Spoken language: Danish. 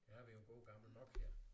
Her har vi jo en god gammel Nokia